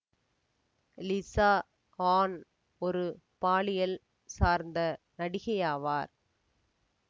Lisa Ann ஒரு பாலியல் சார்ந்த நடிகையாவார்